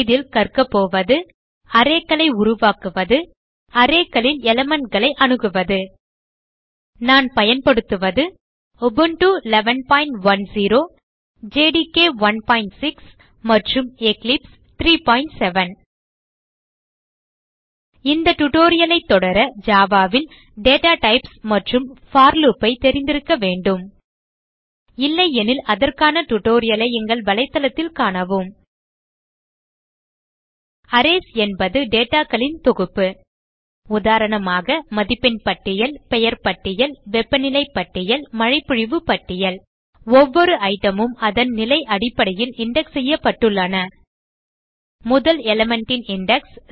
இதில் கற்கபோவது arrayகளை உருவாக்குவது arrayகளில் elementகளை அணுகுவது நான் பயன்படுத்துவது உபுண்டு 1110 ஜேடிகே 16 மற்றும் எக்லிப்ஸ் 37 இந்த tutorial ஐ தொடர Java ல் டேட்டா டைப்ஸ் மற்றும் போர் லூப் ஐ தெரிந்திருக்க வேண்டும் இல்லையெனில் அதற்கான tutorial ஐ எங்கள் வலைத்தளத்தில் காணவும அரேஸ் என்பது dataகளின் தொகுப்பு உதாரணமாக மதிப்பெண் பட்டியல் பெயர் பட்டியல் வெப்பநிலை பட்டியல் மழைப்பொழிவு பட்டியல் ஒவ்வொரு ஐட்டம் மும் அதன் நிலை அடிப்படையில் இண்டெக்ஸ் செய்யப்பட்டுள்ளது முதல் element ன் இண்டெக்ஸ்